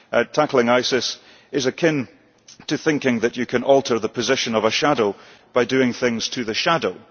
Tackling ISIS is akin to thinking that you can alter the position of a shadow by doing things to the shadow.